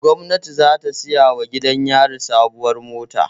Gwamnati za ta siyawa gidan yari sabuwar mota